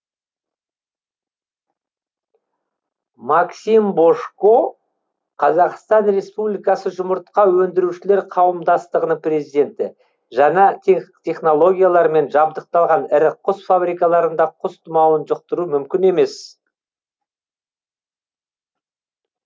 максим божко қазақстан республикасы жұмыртқа өндірушілер қауымдастығының президенті жаңа технологиялармен жабдықталған ірі құс фабрикаларында құс тұмауын жұқтыру мүмкін емес